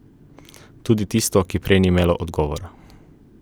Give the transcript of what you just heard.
Tudi tisto, ki prej ni imelo odgovora.